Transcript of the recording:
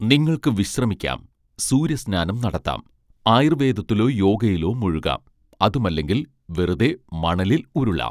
നിങ്ങൾക്ക് വിശ്രമിക്കാം സൂര്യ സ്നാനം നടത്താം ആയൂർവേദത്തിലോ യോഗയിലോ മുഴുകാം അതുമല്ലെങ്കിൽ വെറുതെ മണലിൽ ഉരുളാം